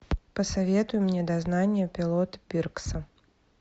посоветуй мне дознание пилота пиркса